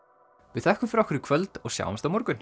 við þökkum fyrir okkur í kvöld og sjáumst á morgun